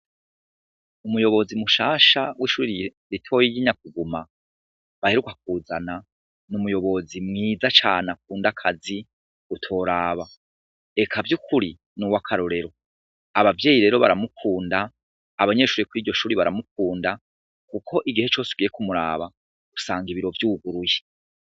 Umuyobozi mushasha w'ishuri ritoyi ry'i Nyakuguma baheruka kuzana, n'umuyobozi mwiza cane akunda akazi utoraba, eka vy'ukuri n'uwakarorero, abavyeyi rero baramukunda, abanyeshuri kw'iryo shuri baramukunda, kuko igihe cose ugiye kumuraba usanga ibiro vyuguruye.